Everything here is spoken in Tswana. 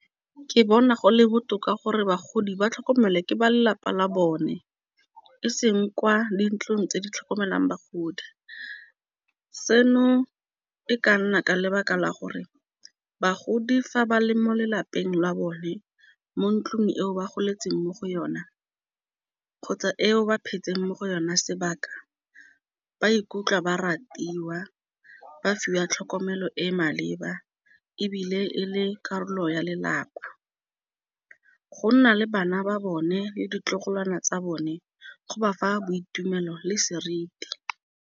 Ke bona go le botoka gore bagodi ba tlhokomelwa ke ba lelapa la bone, eseng kwa dintlong tse di tlhokomelang bagodi. Seno e ka nna ka lebaka la gore bagodi fa ba le mo lelapeng la bone mo ntlung eo ba goletseng mo go yona kgotsa eo ba phetseng mo go yona sebaka ba ikutlwa ba ratiwa. Ba fiwa tlhokomelo e maleba ebile e le karolo ya lelapa. Go nna le bana ba bone le ditlogolwana tsa bone go ba fa boitumelo le seriti.